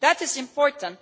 That is important.